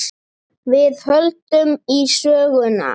Við höldum í söguna.